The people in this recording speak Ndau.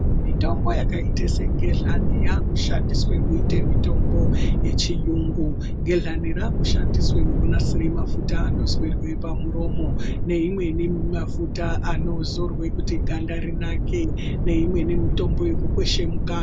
Mitombo yakaite segehlani yakushandiswe kuite mitombo yechiyungu gehlani rakushandise kunasire mafuta anoiswe pamuromo neimweni mafuta anozorwe kuti ganda rinaka neimweni mitombo yekukweshe mukanwa